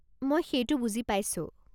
মই সেইটো বুজি পাইছো।